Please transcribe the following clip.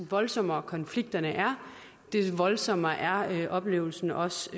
voldsommere konflikterne er des voldsommere er oplevelsen også